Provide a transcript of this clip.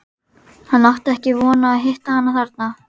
Hann átti ekki von á að hitta hana þarna.